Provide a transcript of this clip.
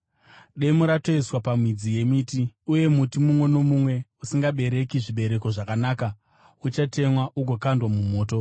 Demo ratoiswa pamidzi yemiti, uye muti mumwe nomumwe usingabereki zvibereko zvakanaka uchatemwa ugokandwa mumoto.”